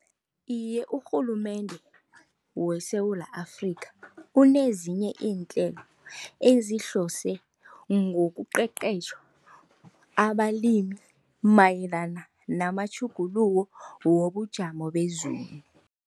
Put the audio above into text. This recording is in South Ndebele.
Iye, urhulumende weSewula Afrika kunezinye iinhlelo ezihlose ngoqeqetjha abalimi mayelana namatjhuguluko wobujamo bezulu.